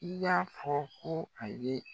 I y'a fɔ ko a ye